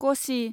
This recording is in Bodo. कसि